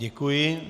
Děkuji.